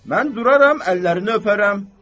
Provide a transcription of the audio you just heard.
Mən duraram əllərini öpərəm."